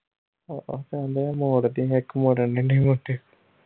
ਕਹਿੰਦੇ ਮੋੜ ਦੀ ਇਕ ਮੋੜਨ ਹੀਂ ਨਹੀਂ